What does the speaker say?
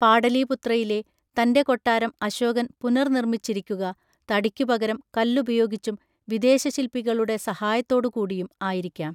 പാടലീപുത്രയിലെ തൻ്റെ കൊട്ടാരം അശോകൻ പുനർനിർമ്മിച്ചിരിക്കുക, തടിക്കുപകരം കല്ലുപയോഗിച്ചും, വിദേശശില്പികളുടെ സഹായത്തോടുകൂടിയും അയിരിക്കാം.